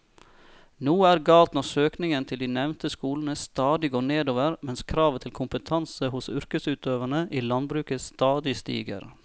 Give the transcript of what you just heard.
Noe er galt når søkningen til de nevnte skolene stadig går nedover mens kravet til kompetanse hos yrkesutøverne i landbruket stadig stiger.